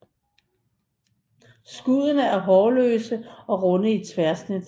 Skuddene er hårløse og runde i tværsnit